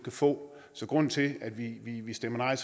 få så grunden til at vi stemmer nej